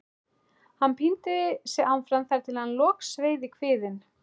Hann píndi sig áfram þar til hann logsveið í kviðinn.